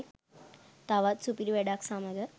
තවත් සුපිරි වැඩක් සමග